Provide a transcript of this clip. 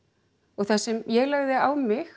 það sem ég lagði á mig